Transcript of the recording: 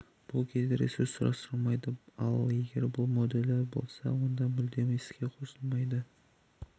бұл кезде ресурс сұрастырылмайды ал егер бұл модулі болса онда мүлдем іске қосылмайды